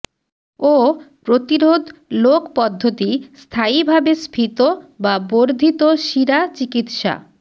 ও প্রতিরোধ লোক পদ্ধতি স্থায়িভাবে স্ফীত বা বর্ধিত শিরা চিকিত্সা